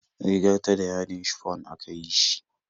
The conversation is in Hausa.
Rigar ta da yadin shifon aka yi shi